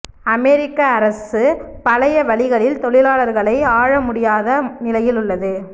அமெரிக்க அரசு பழைய வழிகளில் தொழிலாளாகளை ஆளமுடியாத நிலையில் உள்ளது